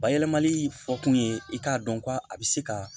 Bayɛlɛmali fɔ kun ye i k'a dɔn ko a bɛ se ka